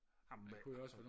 amen man kunne